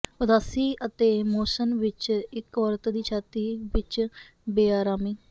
ਉਦਾਸੀ ਅਤੇ ਮੋਸ਼ਨ ਵਿਚ ਇੱਕ ਔਰਤ ਦੀ ਛਾਤੀ ਵਿਚ ਬੇਆਰਾਮੀ